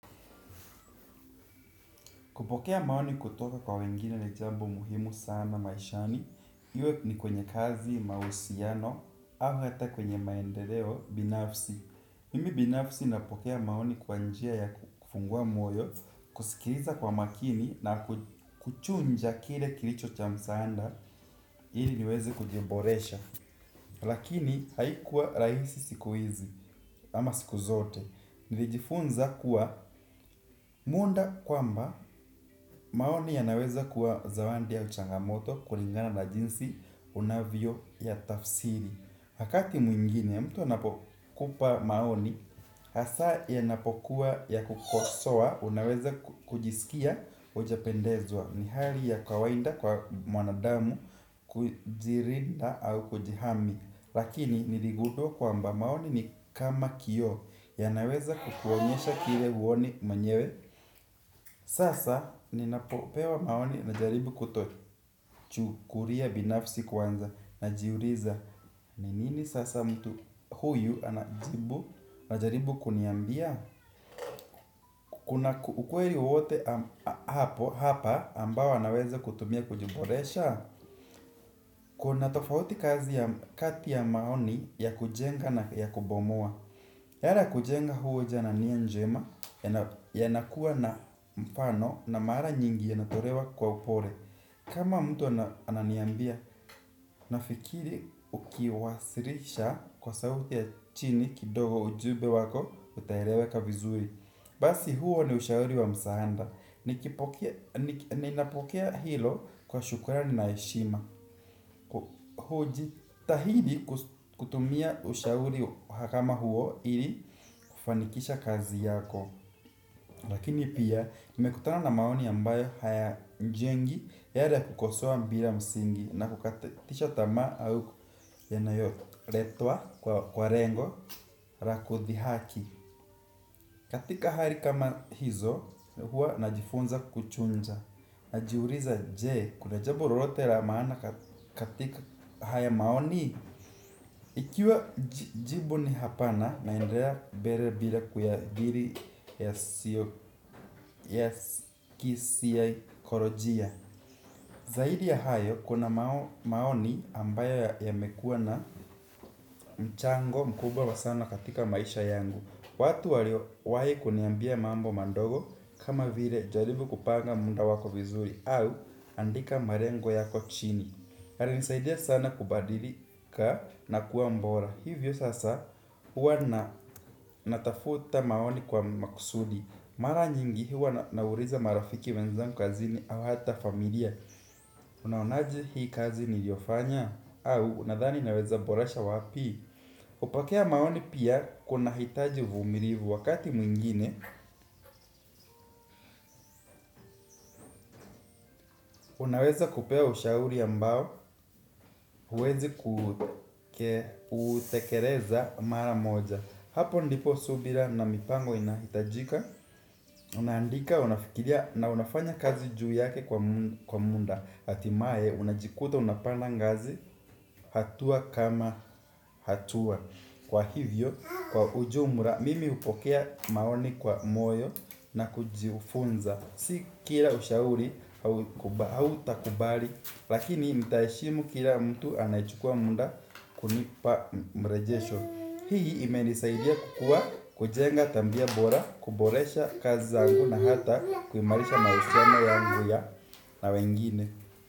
Kupokea maoni kutoka kwa wengine na jambo muhimu sana maishani, iwe ni kwenye kazi mahusiano, au hata kwenye maendeleo binafsi. Mimi binafsi napokea maoni kwa njia ya kufungua moyo, kusikiliza kwa makini na kuchuja kile kilicho cha msaada, ili niweze kujiboresha. Lakini haikuwa rahisi siku hizi, ama siku zote. Nilijifunza kuwa muda kwamba maoni yanaweza kuwa zawadi au changamoto kulingana na jinsi unavyo yatafsiri wakati mwingine mtu anapokupa maoni hasa yanapokuwa ya kukosoa unaweza kujisikia hujapendezwa. Ni hali ya kawaida kwa mwanadamu kujilinda au kujihami. Lakini niligundua kwamba maoni ni kama kioo yanaweza kukuonyesha kile huoni mwenyewe. Sasa ninapopewa maoni najaribu kutochukulia binafsi kwanza najiuliza ni nini sasa mtu huyu anajibu anajaribu kuniambia. Kuna ukweli wowote hapa ambao anaweza kutumia kujiboresha. Kuna tofauti kazi ya kati ya maoni ya kujenga na ya kubomoa yara kujenga hujo na njia njema yanakuwa na mfano na mara nyingi yanatolewa kwa upole. Kama mtu ananiambia, nafikiri ukiwasilisha kwa sauti ya chini kidogo ujumbe wako utaeleweka vizuri. Basi huo ni ushauri wa msaada. Nikipokea ninapokea hilo kwa shukrani na heshima. Kujitahidi kutumia ushauri kama huo ili kufanikisha kazi yako. Lakini pia nimekutana na maoni ambayo hayajengi yale ya kukosoa bila msingi na kukatisha tamaa au yanayoletwa kwa lengo la kudhihaki. Katika hali kama hizo huwa najifunza kuchuja najiuliza je kuna jabmbo lolote la maana katika haya maoni ikiwa jibu ni hapana naendelea mbele bila kuyadhiri yasiyo ya kisaikolojia zaidi ya hayo kuna maoni ambayo yamekuwa na mchango mkubwa wa sana katika maisha yangu. Watu waliowahi kuniambia mambo madogo kama vile jaribu kupanga muda wako vizuri au andika malengo yako chini alinisaidia sana kubadilika na kuwa bora. Hivyo sasa huwa na natafuta maoni kwa makusudi. Mara nyingi huwa nauliza marafiki wenzangu kazini au hata familia. Unaonaje hii kazi niliofanya au unadhani naweza boresha wapi kupokea maoni pia kunahitaji uvumilivu wakati mwingine. Unaweza kupewa ushauri ambao huwezi kutekeleza mara moja. Hapo ndipo subira na mipango inahitajika. Unaandika, unafikiria na unafanya kazi juu yake kwa muda hatimaye, unajikuta, unapanda ngazi. Hatua kama hatua. Kwa hivyo, kwa ujumla mimi hupokea maoni kwa moyo. Na kujifunza. Si kila ushauri hautakubali. Lakini mtaheshimu kila mtu anayechukua muda kunipa Mrejesho. Hii imenisaidia kukuwa kujenga tabia bora kuboresha kazi zangu na hata kuimarisha mahusiano yangu ya na wengine.